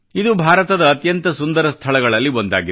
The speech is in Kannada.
ಇದು ಭಾರತದ ಅತ್ಯಂತ ಸುಂದರ ಸ್ಥಳಗಳಲ್ಲಿ ಒಂದಾಗಿದೆ